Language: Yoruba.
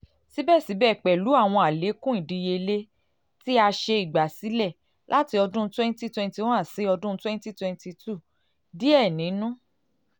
sibẹsibẹ pẹlu awọn alekun idiyele ti a ṣe igbasilẹ lati ọdun cs] twenty twenty one si twenty twenty two diẹ ninu